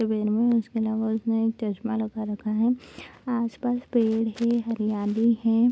इसके अलावा उसने एक चश्मा लगा रखा है | आस पास पेड़ है हरियाली है |